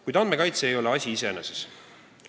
Kuid andmekaitse ei ole asi iseeneses.